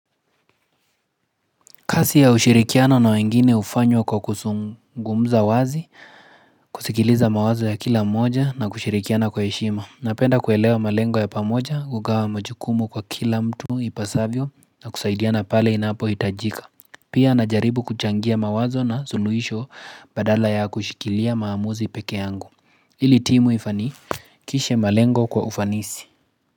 Kasi ya ushirikiana na wengine ufanywa kwa kusungumza wazi, kusikiliza mawazo ya kila moja na kushirikiana kwa heshima. Napenda kuelewa malengo ya pamoja, kugawa majukumu kwa kila mtu ipasavyo na kusaidiana pale inapo itajika. Pia anajaribu kuchangia mawazo na suluisho badala ya kushikilia maamuzi pekee yangu. Ili timu ifani, kishe malengo kwa ufanisi.